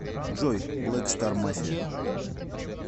джой блэк стар мафия